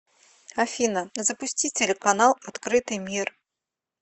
афина запусти телеканал открытый мир